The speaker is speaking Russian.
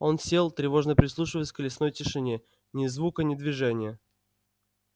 он сел тревожно прислушиваясь к лесной тишине ни звука ни движения